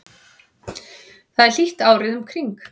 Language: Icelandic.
þar er hlýtt árið um kring